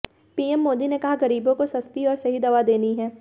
PM Modi ने कहा गरीबों को सस्ती और सही दवा देनी है